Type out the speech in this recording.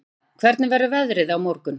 Thea, hvernig verður veðrið á morgun?